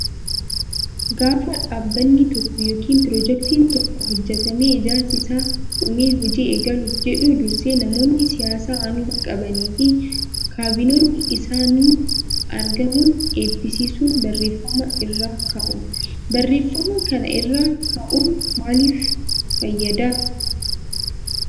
Gaafa dhaabbanni tokko yookiin piroojeektiin tokko hojjatamee ijaarsi isaa dhumee hojii eegaluuf jedhu dursee namoonni siyaasaa aangoo qabanii fi kaabinoonni isaanii argamuun eebbisiisun barreeffama irra kaa'u. Barreeffama kana irra kaa'uun maaliif fayyadaa?